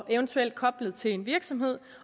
eventuelt koblet til en virksomhed